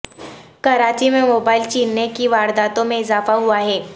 کراچی میں موبائل چیننے کی وارداتوں میں اضافہ ہوا ہے